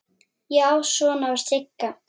Já, svona var Sigga!